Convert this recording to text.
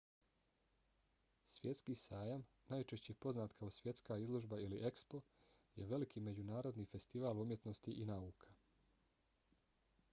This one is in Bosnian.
svjetski sajam najčešće poznat kao svjetska izložba ili expo je veliki međunarodni festival umjetnosti i nauka